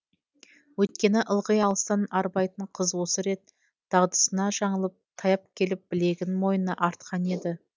өйткені ылғи алыстан арбайтын қыз осы рет дағдысынан жаңылып таяп келіп білегін мойнына артқан еді